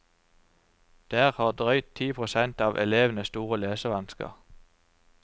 Der har drøyt ti prosent av elevene store lesevansker.